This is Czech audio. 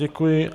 Děkuji.